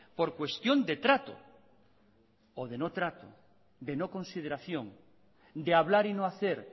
por cuestión de trato o de no trato de no consideración de hablar y no hacer